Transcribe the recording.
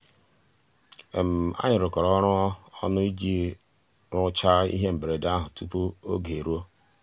ànyị́ rụ́kọ̀rọ́ ọ́rụ́ ọnụ́ ìjì rụ́cháá íhé mbérèdé àhụ́ túpú ògé èrúó.